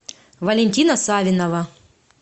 валентина савинова